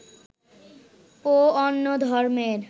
ও অন্য ধর্মের